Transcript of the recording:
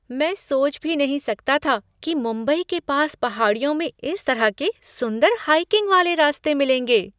मैंने सोच भी नहीं सकता था कि मुंबई के पास पहाड़ियों में इस तरह के सुंदर हाइकिंग वाले रास्ते मिलेंगे।